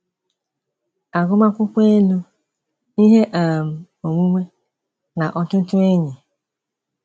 Agụmakwụkwọ elu, ihe um onwunwe na ọtụtụ enyi?